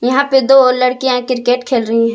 यहां पे दो और लड़कियां क्रिकेट खेल रही है।